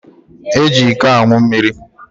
Eji iko anwụ mmiri.